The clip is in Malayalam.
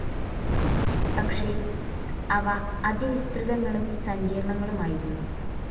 പക്ഷേ അവ അതിവിസ്തൃതങ്ങളും സങ്കീർണങ്ങളുമായിരുന്നു.